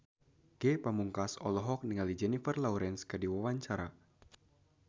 Ge Pamungkas olohok ningali Jennifer Lawrence keur diwawancara